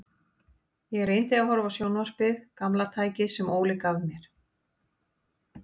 Ég reyndi að horfa á sjónvarpið, gamla tækið sem Óli gaf mér.